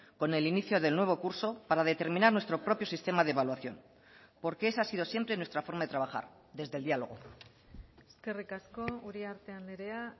con el inicio del nuevo curso para determinar nuestro propio sistema de evaluación porque esa ha sido siempre nuestra forma de trabajar desde el diálogo eskerrik asko uriarte andrea